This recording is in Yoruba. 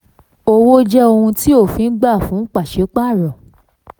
34. owó jẹ́ ohun tí òfin gba fún pàṣípàrọ̀.